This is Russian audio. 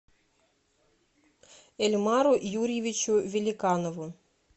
эльмару юрьевичу великанову